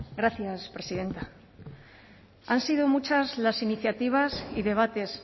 gracias presidenta han sido muchas las iniciativas y debates